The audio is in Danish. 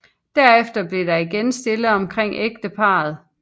Derefter blev der igen stille omkring ægteparret